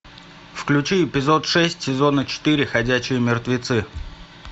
включи эпизод шесть сезона четыре ходячие мертвецы